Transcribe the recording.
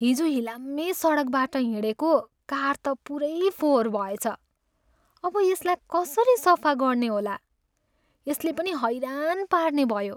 हिजो हिलाम्मे सडकबाट हिँडेको कार त पुरै फोहोर भएछ। अब यसलाई कसरी सफा गर्ने होला? यसले पनि हैरान पार्नेभयो!